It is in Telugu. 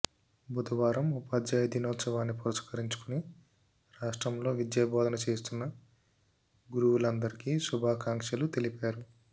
బుధవారం ఉపాధ్యాయ దినోత్సవాన్ని పురస్కరించుకుని రాష్ట్రంలో విద్యాబోధన చేస్తున్న గురువులందరికీ శుభాకాంక్షలు తెలిపారు